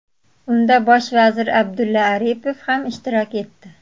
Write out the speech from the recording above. Unda bosh vazir Abdulla Aripov ham ishtirok etdi.